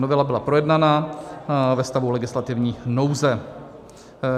Novela byla projednána ve stavu legislativní nouze.